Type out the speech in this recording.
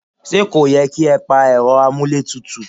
Ṣé kò yẹ kí ẹ pa Ẹ̀rọ amuletutu?